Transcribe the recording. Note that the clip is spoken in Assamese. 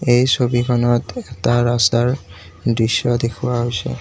এই ছবিখনত এটা ৰাস্তাৰ দৃশ্য দেখুওৱা হৈছে।